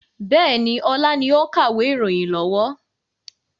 Bẹ́ẹ̀ni, ọlá ni ó ń kàwé ìròyìn lọ́wọ́.